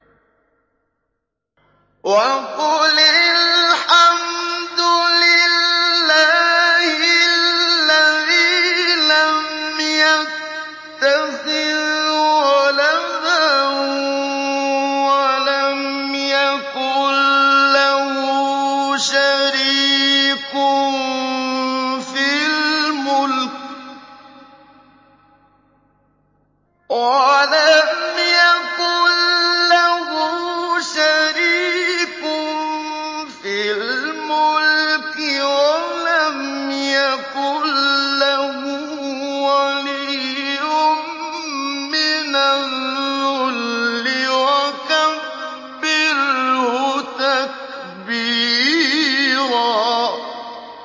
وَقُلِ الْحَمْدُ لِلَّهِ الَّذِي لَمْ يَتَّخِذْ وَلَدًا وَلَمْ يَكُن لَّهُ شَرِيكٌ فِي الْمُلْكِ وَلَمْ يَكُن لَّهُ وَلِيٌّ مِّنَ الذُّلِّ ۖ وَكَبِّرْهُ تَكْبِيرًا